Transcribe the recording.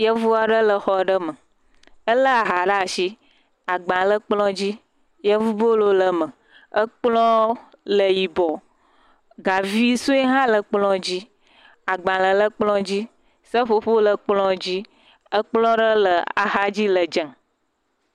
Yevu aɖe le xɔ aɖe me. Ele ha ɖe asi, agba le kplɔ̃ dzi. Yevubolo le me ekplɔ̃ le yibɔ. Gavi sue hã le kplɔ̃a dzi. agbalẽ le kplɔ dzi. Seƒoƒo le kplɔ̃a dzi. Kplɔ̃ aɖe le axa dzi le dzẽ.